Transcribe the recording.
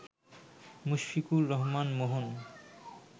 Mushfiqur Rahman Mohan